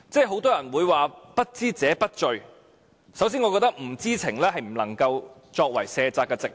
很多人會說不知者不罪，首先我覺得不知情不能作為卸責的藉口。